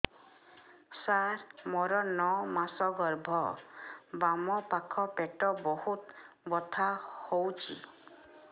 ସାର ମୋର ନଅ ମାସ ଗର୍ଭ ବାମପାଖ ପେଟ ବହୁତ ବଥା ହଉଚି